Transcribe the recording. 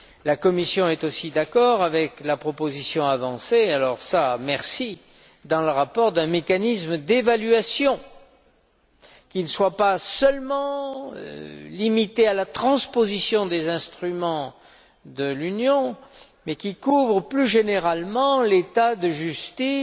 La Commission est aussi d'accord avec la proposition avancée dans le rapport vraiment, merci d'un mécanisme d'évaluation qui ne soit pas seulement limité à la transposition des instruments de l'Union, mais qui couvre plus généralement l'état de justice